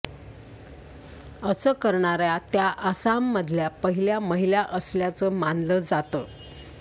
असं करणाऱ्या त्या आसाममधल्या पहिल्या महिला असल्याचं मानलं जातं